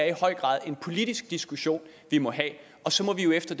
i høj grad en politisk diskussion vi må have og så må vi derefter